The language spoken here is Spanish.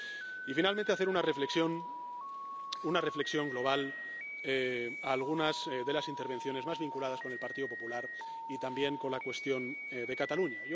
Y, finalmente, quiero hacer una reflexión, una reflexión global sobre algunas de las intervenciones más vinculadas con el Partido Popular y también con la cuestión de Cataluña.